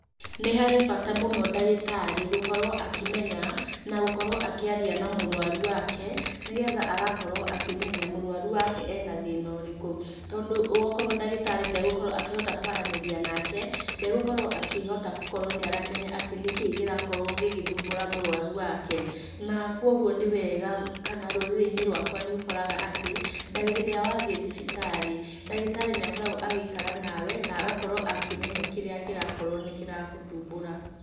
Nĩ harĩ bata mũno dagĩtarĩ gũkorwo akĩmenya na gũkorwo akĩaria na mũrũaru wake nĩgetha agakorwo akĩmenya mũrũaru wake ena thĩna ũrĩkũ. Tondũ gwokorwo dagĩtarĩ ndegukorwo akĩhota kwaranĩria nake, ndegũkorwo akĩhota gũkorwo nĩaramenya atĩ nĩ kĩĩ kĩrĩa kĩrakorwo gĩgĩthumbũra mũrwaru wake. Na kũgwo nĩ wega, kana rũrĩrĩ-inĩ rwakwa nĩũkoraga atĩ hĩndĩ ĩrĩa wathiĩ thibitarĩ ndagitarĩ nĩakoragwo agĩikara nawe na agakorwo akĩmenya kĩrĩa kĩrakorwo nĩ kĩragũthumbũra.